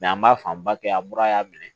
an b'a fanba kɛ an mura y'a minɛ